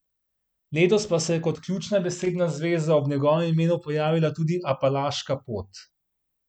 Letos pa se je kot ključna besedna zveza ob njegovem imenu pojavila tudi Apalaška pot.